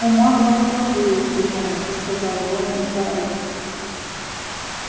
у маглов тоже есть гномы сказал рону гарри